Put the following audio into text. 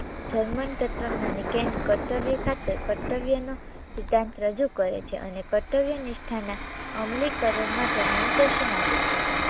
German તત્વજ્ઞાની Kant કર્તવ્ય ખાતર કર્તવ્યનો સિદ્ધાંત રજૂ કરે છે અને કર્તવ્ય નિષ્ઠાના અમલીકરણ માટે માર્ગદર્શન આપે છે